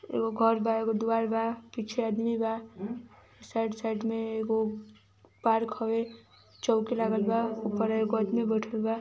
एगो घर बा एगो द्वार बा पीछे आदमी बा साइड-साइड में एगो पार्क होवे चौकी लागल बा उपरा एगो आदमी बैठल बा।